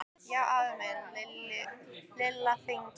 Já afi minn sagði Lilla fegin.